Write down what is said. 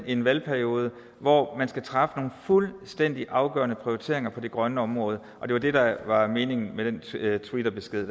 i en valgperiode hvor man skal træffe nogle fuldstændig afgørende prioriteringer på det grønne område og det var det der var meningen med den twitterbesked